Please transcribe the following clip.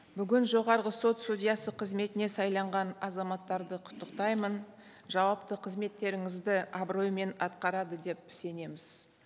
бүгін жоғарғы сот судьясы қызметіне сайланған азаматтарды құттықтаймын жауапты қызметтеріңізді абыроймен атқарады деп сенеміз